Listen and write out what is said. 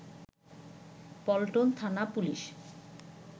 পল্টন থানা পুলিশ